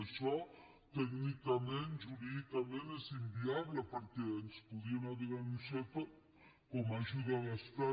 això tècnicament jurídicament és inviable perquè ens podrien haver denunciat com a ajuda d’estat